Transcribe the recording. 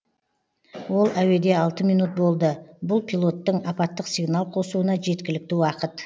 ол әуеде алты минут болды бұл пилоттың апаттық сигнал қосуына жеткілікті уақыт